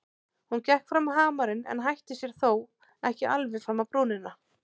Hún gekk fram á hamarinn en hætti sér þó ekki alveg fram á brúnina.